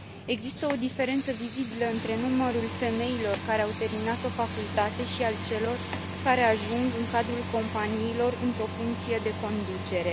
Există o diferență vizibilă între numărul femeilor care au terminat o facultate și al celor care ajung în cadrul companiilor într o funcție de conducere.